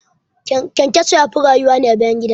ƘyanƘyaso yafi rayuwa ne a bayan gida